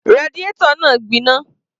Radiator náà gbiná